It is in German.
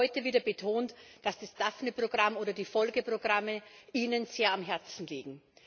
Sie haben auch heute wieder betont, dass Ihnen das Daphne Programm oder die Folgeprogramme sehr am Herzen liegen.